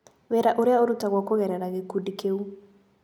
Wĩra ũrĩa ũrutagwo kũgerera gĩkundi kĩu.